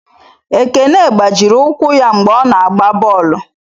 Ekene gbajiri ụkwụ ya mgbe ọ na-agba bọọlụ.